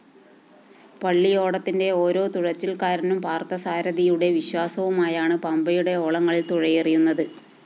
പള്ളിയോടത്തിന്റെ ഓരോ തുഴച്ചില്‍ക്കാരനും പാര്‍ഥസാരഥിയുടെ വിശ്വാസവുമായാണ് പമ്പയുടെ ഓളങ്ങളില്‍ തുഴയെറിയുന്നത്